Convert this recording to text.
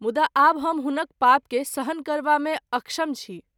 मुदा आब हम हुनक पाप के सहन करबा मे अक्षम छी।